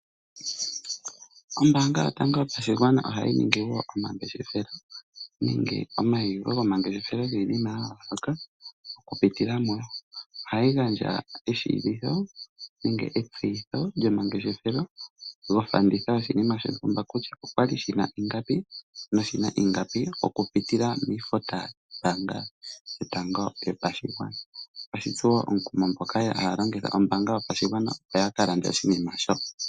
Ombaanga yotango yopashigwana ohayi ningi woo omangeshefelo nenge omauliko gomangeshefelo giinima ya yooloka . ohayi gandja etseyitho lyomangeshefelo lyoshinima shontumba kutya okwali shina ingapi. Otashitsu woo omukumo aantu mboka haya longitha ombaanga yotango yopashigwana opo yaka lande oshinima shoka.